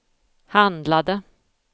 handlade